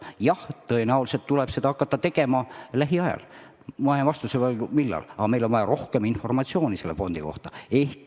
Jah, tõenäoliselt tuleb hakata seda tegema lähiajal – ma jään vastuse võlgu, millal täpselt –, aga meil on vaja rohkem informatsiooni selle fondi kohta.